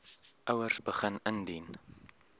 ouers begin indien